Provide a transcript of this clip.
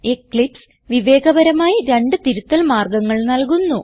Eclipse വിവേകപരമായി രണ്ട് തിരുത്തൽ മാർഗങ്ങൾ നൽകുന്നു